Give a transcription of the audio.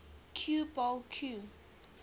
cue ball cue